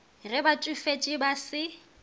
ge ba tšofetše ba se